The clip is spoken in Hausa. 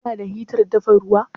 Ku na da hitar dafa ruwa?